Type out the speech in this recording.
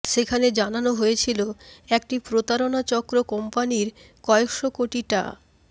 সেখানে জানানো হয়েছিল একটি প্রতারণা চক্র কোম্পানির কয়েকশো কোটি টা